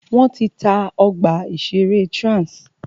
Wọ́n ti ta ọgbà ìṣẹ̀rẹ́ Trans.